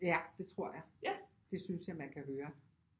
Ja det tror jeg det synes jeg man kan høre